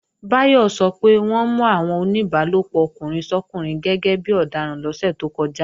Báyọ̀ sọ pé wọ́n mú àwọn oníbálòpọ̀ ọkùnrin sọ́kùnrin gẹ́gẹ́bí ọdaràn lọ́sẹ̀ tó kọjá